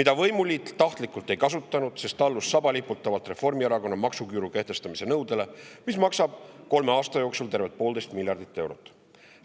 mida võimuliit tahtlikult ei kasutanud, sest allus sabaliputavalt Reformierakonna maksuküüru kehtestamise nõudele, mis maksab kolme aasta peale tervelt poolteist miljardit eurot.